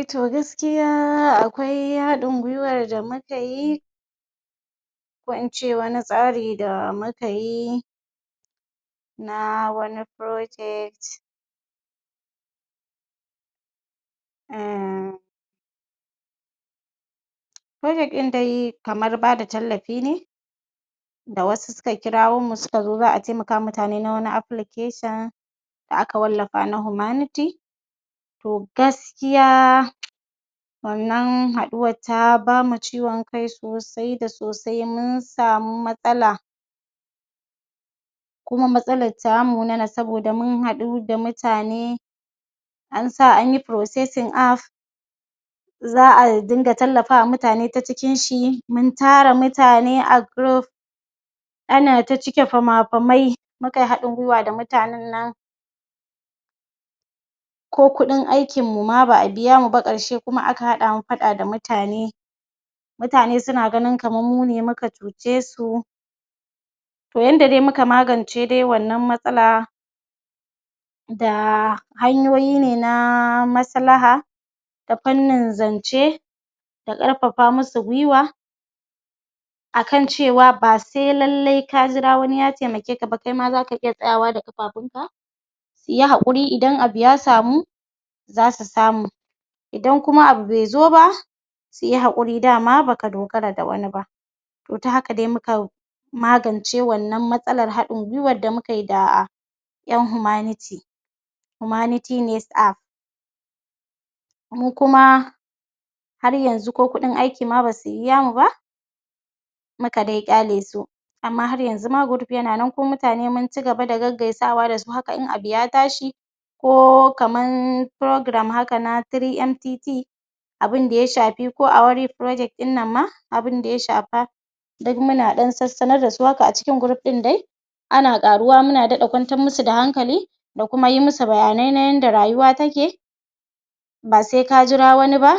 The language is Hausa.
E to gaskiys akwai haɗin guiwar da muka yi ko in ce wani tsari da muka yi na wani project um project ɗin dai kamar ba da tallafi ne da wasu suka kirawo mu suka zo za a taimaka wa mutane na wani application da aka wallafa na Humanity to gaskiya wannan haɗuwar ta ba mu ciwon kai sosai da sosai mun samu matsala. Kuma matsalar ta munana saboda mun haɗu da mutane an sa an yi processing app za a dinga tallafawa ,utane ta cikinshi mun tara mutane a group ana ta cike fama-famai mu kai haɗin guiwa da mutanen nan ko kuɗin aikinmu ma ba abiya mu baƙarshe kuma aka haɗa mu faɗa da mutane Mutane sun gani kamar mune muka cuce su to yanda dai muka magance dai wannan matsala da hanyoyi ne na maslaha ta fannin zance da ƙarfafa masu guiwa a kan cewa ba sai lallai ka jira wani ya taimakae ka ba, kai ma za ka iya tsayawa da ƙafafunka yi haƙuri idan abu ya samu za su samu idan kuma abu bai zo ba su yi haƙuri dama ba ka dogara da wani ba, to ta haka dai muka magance wannan matsalar haɗin guiwar da muka yi da ƴan humanity Humanity Next App mu kuma, har yanzu ko kuɗin aiki ma ba su biya mu ba. muka dai kyale su. Amma har yanzu dai group yana nan kuma mutane mun ci gaba da gaggaisawa haka ma in abu ya tashi ko kaman programm haka na 3mtt abun da ya shafi ko award project ɗin nan ma abun da ya shafa duk muna ɗan sassanar da su haka a cikin group ɗin dai. ana ƙaruwa muna daɗa kwantar musu da hankali da kuma yi musu bayanai na yanda rayuwa take ba sai ka jira wani ba